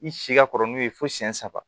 I si ka kɔrɔ n'u ye fo siyɛn saba